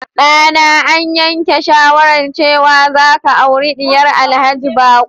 Dana, an yanke shawarar cewa za ka auri diyar Alhaji Bako.